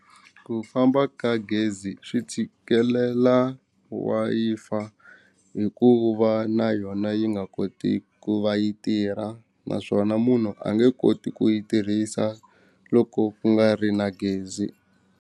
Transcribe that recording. Ku famba ka gezi swi tshikelela Wi-Fi hikuva na yona yi nga koti ku va yi tirha naswona munhu a nge koti ku yi tirhisa loko ku nga ri na gezi.